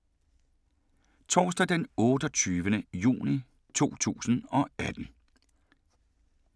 Torsdag d. 28. juni 2018